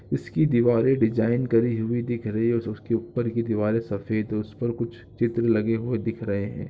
इसकी दीवारे डिजाईन करी हुई दिख रही हैं और उसके ऊपर की दीवारे सफ़ेद उसपर कुछ चित्र लगे हुए दिख रहे हैं।